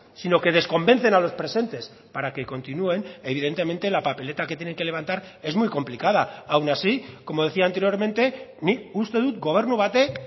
sino que desconvencen a los presentes para que continúen evidentemente la papeleta que tienen que levantar es muy complicada aun así como decía anteriormente nik uste dut gobernu batek